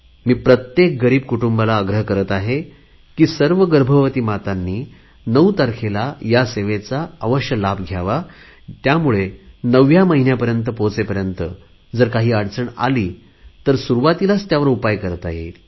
मी प्रत्येक गरीब कुटुंबाला आग्रह करत आहे की सर्व गर्भवती मातांनी नऊ तारखेला या सेवेचा लाभ घ्यावा त्यामुळे नवव्या महिन्यापर्यंत पोहोचेपर्यंत काही अडचण आली तर सुरुवातीलाच त्यावर उपाय करता येईल